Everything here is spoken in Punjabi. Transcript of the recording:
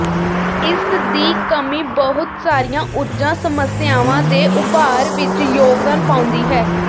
ਇਸ ਦੀ ਕਮੀ ਬਹੁਤ ਸਾਰੀਆਂ ਊਰਜਾ ਸਮੱਸਿਆਵਾਂ ਦੇ ਉਭਾਰ ਵਿੱਚ ਯੋਗਦਾਨ ਪਾਉਂਦੀ ਹੈ